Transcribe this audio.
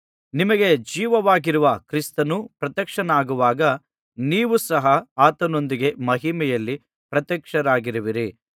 ನಿಮಗೆ ಜೀವವಾಗಿರುವ ಕ್ರಿಸ್ತನು ಪ್ರತ್ಯಕ್ಷನಾಗುವಾಗ ನೀವು ಸಹ ಆತನೊಂದಿಗೆ ಮಹಿಮೆಯಲ್ಲಿ ಪ್ರತ್ಯಕ್ಷರಾಗುವಿರಿ